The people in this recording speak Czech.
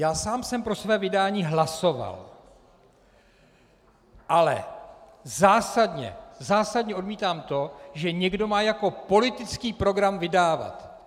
Já sám jsem pro své vydání hlasoval, ale zásadně odmítám to, že někdo má jako politický program vydávat.